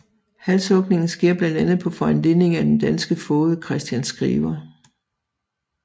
Halshugningen sker blandt andet på foranledning af den danske foged Christian Skriver